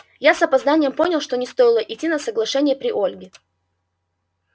я с запозданием понял что не стоило идти на соглашение при ольге